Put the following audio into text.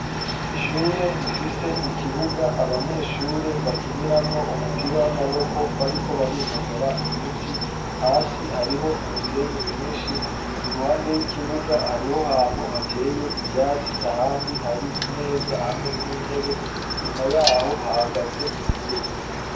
Ishure rifise ikibuga abanyeshure bakiniramwo umupira w'amaboko bariko barinonora imitsi hasi hariho umusenyi mwinshi iruhande y'ikibuga hariho hantu hateye ivyatsi ahandi hari imeza hamwe n'intebe nyuma yaho hahagaze imiduga.